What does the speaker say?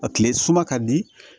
A tile suma ka di